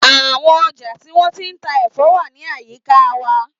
Àwọn ọjà tí wọ́n ti ń ta ẹ̀fọ́ wà ní àyíká wa.